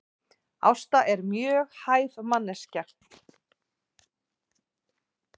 Ásta er mjög hæf manneskja